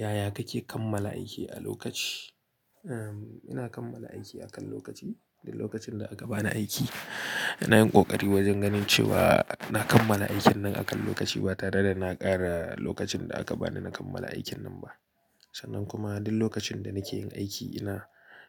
Yaya kake kammala aiki a lokaci? Ehm, ina kammala aiki a kan lokaci. Duk lokacin da aka bani aiki, ina yin ƙoƙari wajen ganin cewa na kammala aikin nan a kan lokaci ba tare da na ƙara lokacin da aka bani na kammala aikin nan ba. Sannan kuma duk lokacin da nake yin aiki ina,